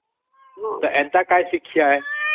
ତ ଏଇଟା କି ଶିକ୍ଷା ଯେ?